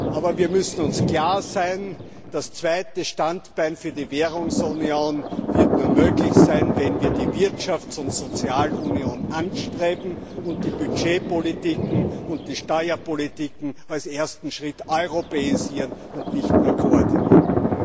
Aber wir müssen uns darüber klar sein, das zweite Standbein für die Währungsunion wird nur möglich sein, wenn wir die Wirtschafts und Sozialunion anstreben und die Budgetpolitiken und die Steuerpolitiken als ersten Schritt europäisieren und nicht nur koordinieren.